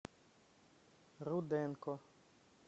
руденко